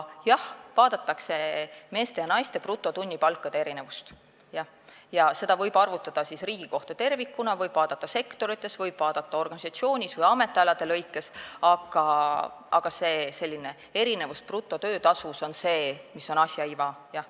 Jah, vaadatakse meeste ja naiste brutotunnipalkade erinevust ja seda võib arvutada riigi kohta tervikuna, seda võib vaadata eri sektorites, võib vaadata organisatsioonis või ametialade kaupa, aga selline erinevus brutotöötasus on asja iva.